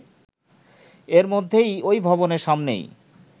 এর মধ্যেই ওই ভবনের সামনেই